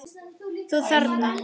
Þú þarna.